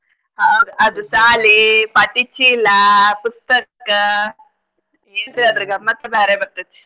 ಹೌದ ಅದು ಶಾಲಿ ಪಾಟಿ ಚೀಲಾ ಪುಸ್ತಕ ಏನ್ರೀ ಅದ್ರ ಗಮ್ಮತ್ ಬ್ಯಾರೇ ಬರ್ತೈತಿ.